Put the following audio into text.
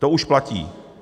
To už platí.